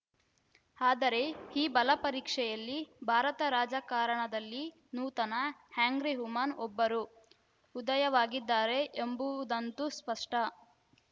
ಆದರೆ ಈ ಬಲಪರೀಕ್ಷೆಯಲ್ಲಿ ಭಾರತ ರಾಜಕಾರಣದಲ್ಲಿ ನೂತನ ಆ್ಯಂಗ್ರಿ ವುಮನ್‌ ಒಬ್ಬರು ಉದಯವಾಗಿದ್ದಾರೆ ಎಂಬುವುದಂತೂ ಸ್ಪಷ್ಟ